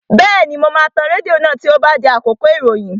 Bẹ́ẹ̀ni, mo máa tan rédíò náà tí ó bá di àkókò ìròyìn